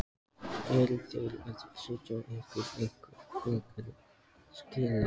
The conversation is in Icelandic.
Fréttamaður: Eru þeir að setja ykkur einhver frekari skilyrði?